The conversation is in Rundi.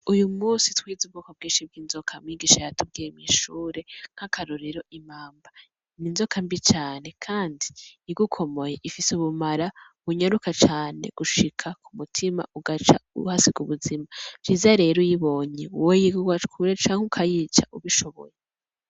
Uyu munsi twize ubwoko bwinshi bw’inzoka, mwigisha yatubwiye mw'ishure nk'akarorero imamba. Ni inzoka mbi cane kandi igukomoye ifise ubumara bunyaruka cane gushika ku mutima ugaca uhasiga ubuzima. Ivyiza rero uyibonye weyo woca kure canke ukayica ubishoboye.